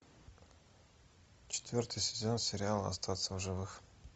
четвертый сезон сериала остаться в живых